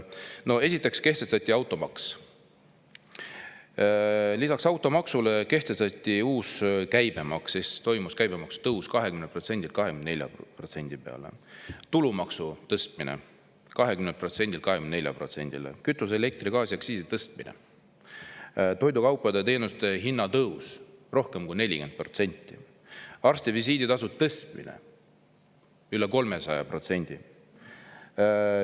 No esiteks kehtestati automaks; lisaks automaksule kehtestati uus käibemaks ehk toimus käibemaksu tõus 20%-lt 24%-le; tulumaksu tõsteti 20%-lt 24%-le; samuti tõsteti kütuse-, elektri-, gaasiaktsiisi; toidukaupade ja teenuste hinna tõus on rohkem kui 40%, arstivisiiditasu on kasvanud üle 300%.